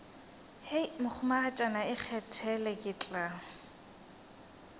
hei mohumagatšana ikgethele ke tla